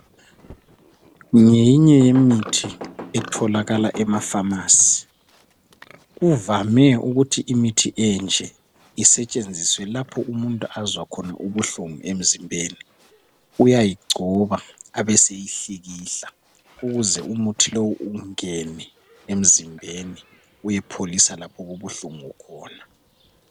Ngeyinye yemithi etholakala emapharmacy. Kuvame ukuthi imithi enje isetshenziswe lapho umuntu azwa khona ubuhlungu emzimbeni. Uyayigcoba abeseyihlikihla ukuze umuthi lowu ungene emzimbeni uyepholisa lapho okubuhlungu khona.